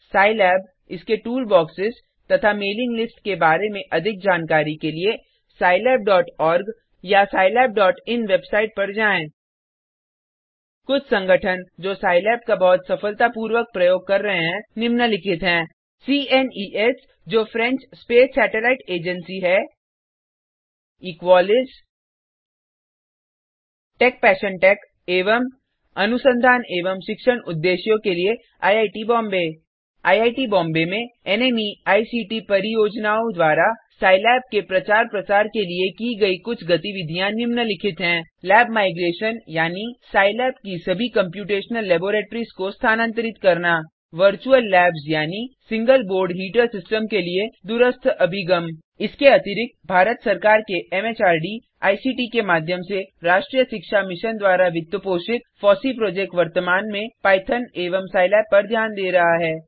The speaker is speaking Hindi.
सिलाब इसके टूलबॉक्सेज तथा मेलिंग लिस्ट के बारे में अधिक जानकारी के लिए scilabओआरजी या scilabइन वेबसाईट पर जाएँ कुछ संगठन जो सिलाब का बहुत सफलतापूर्वक प्रयोग कर रहे हैं निम्नलिखित हैं सीएनईएस जो फ्रेंच स्पेस सैटेलाईट एजेन्सी है इक्वालिस इक्वॉलिस टेकपैशनटेक एवं अनुसंधान एवं शिक्षण उद्देश्यों के लिए आईआईटी बॉम्बे आईआईटी बॉम्बे में एनएमईआईसीटी परियोजनाओं द्वारा सिलाब के प्रचार प्रसार के लिए की गई कुछ गतिविधियाँ निम्नलिखित हैं लैब माइग्रेशन यानी सिलाब की सभी कम्प्यूटेशनल लेबोरेटरीज को स्थानान्तरित करना वर्चुअल लैब्स यानी सिंगल बोर्ड हीटर सिस्टम के लिए दूरस्थ अभिगम इसके अतिरिक्त भारत सरकार के एमएचआरडी आईसीटी के माध्यम से राष्ट्रीय शिक्षा मिशन द्वारा वित्तपोषित फॉसी प्रोजेक्ट वर्तमान में पाइथॉन एवं सिलाब पर ध्यान दे रहा है